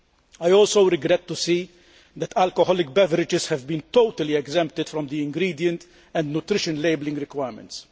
I also regret to see that alcoholic beverages have been totally exempted from the ingredient and nutrition labelling requirements.